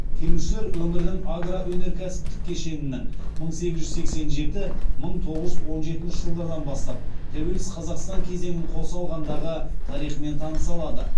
келушілер өңірдің агроөнеркәсіптік кешенінің мың сегіз жүз сексен жеті мың тоғыз жүз он жетінші жылдардан бастап тәуелсіз қазақстан кезеңін қоса алғандағы тарихымен таныса алады